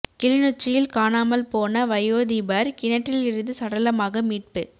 கிளிநொச்சியில் காணாமல் போன வயோதிபர் கிணற்றிலிருந்து சடலமாக மீட்பு